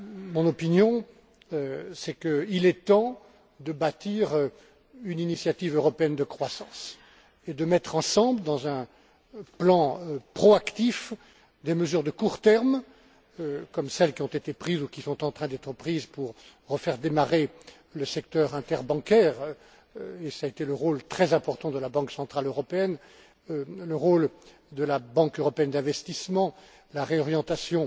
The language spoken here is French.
Mon opinion, c'est qu'il est temps de bâtir une initiative européenne de croissance et de mettre ensemble, dans un plan proactif, des mesures de court terme, comme celles qui ont été prises ou qui sont en train d'être prises pour faire redémarrer le secteur interbancaire, et cela a été le rôle très important de la Banque centrale européenne et de la Banque européenne d'investissement, comme la réorientation